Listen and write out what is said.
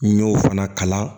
N y'o fana kalan